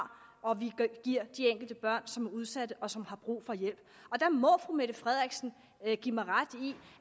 og giver de enkelte børn som er udsatte og som har brug for hjælp der må fru mette frederiksen give mig ret i